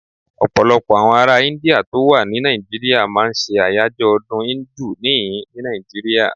Ọ̀pọ̀lọpọ̀ àwọn ará Íńdíà tó wà ní Nàìjíríà máa ń ṣe àyájọ́ ọdún Íńdù níhìn-ín ní Nàìjíríà.